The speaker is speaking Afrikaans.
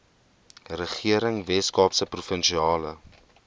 regering weskaapse provinsiale